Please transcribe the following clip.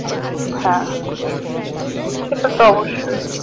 হ্যাঁ সেটা তো অবশ্যই